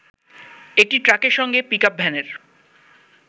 একটি ট্রাকের সঙ্গে পিকআপ ভ্যানের